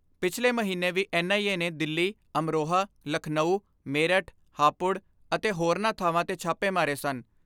ਪਿਛਲੇ ਮਹੀਨੇ ਵੀ ਐਨ ਆਈ ਏ ਨੇ ਦਿੱਲੀ, ਅਮਰੋਹਾ, ਲਖਨਾਊ, ਮੇਰਠ ਹਾਪੁੜ ਅਤੇ ਹੋਰਨਾਂ ਥਾਵਾਂ ਤੇ ਛਾਪੇ ਮਾਰੇ ਸਨ।